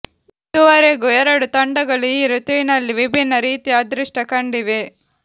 ಇದುವರೆಗೂ ಎರಡೂ ತಂಡಗಳು ಈ ಋತುವಿನಲ್ಲಿ ವಿಭಿನ್ನ ರೀತಿಯ ಅದೃಷ್ಟ ಕಂಡಿವೆ